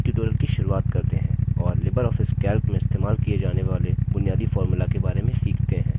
चलिए tutorial की शुरुआत करते हैं और libreoffice calc में इस्तेमाल किए जाने वाले बुनियादी formulas के बारे में सीखते हैं